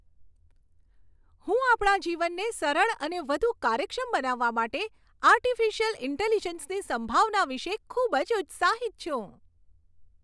હું આપણા જીવનને સરળ અને વધુ કાર્યક્ષમ બનાવવા માટે આર્ટિફિશિયલ ઈન્ટેલિજન્સની સંભાવના વિશે ખૂબ જ ઉત્સાહિત છું.